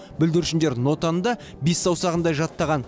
бүлдіршіндер нотаны да бес саусағындай жаттаған